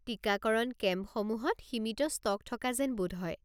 টিকাকৰণ কেম্পসমূহত সীমিত ষ্টক থকা যেন বোধ হয়।